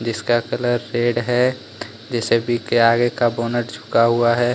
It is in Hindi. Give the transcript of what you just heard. जिसका कलर रेड है जे_सी_बी के आगे का बोनट झुका हुआ है।